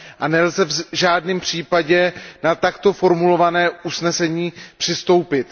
A nelze v žádném případě na takto formulované usnesení přistoupit.